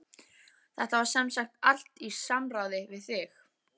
Þetta var semsagt allt í samráði við þig?